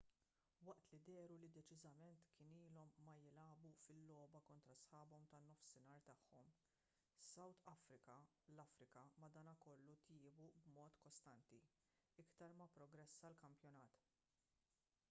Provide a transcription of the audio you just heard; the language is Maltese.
waqt li dehru li deċiżament kienu ilhom ma jilagħbu fil-logħba kontra sħabhom tan-nofsinhar tagħhom south africa l-afrika madankollu tjiebu b'mod kostanti iktar ma pprogressa l-kampjonat